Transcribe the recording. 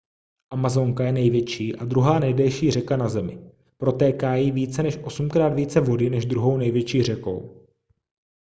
amazonka je největší a druhá nejdelší řeka na zemi protéká jí více než osmkrát více vody než druhou největší řekou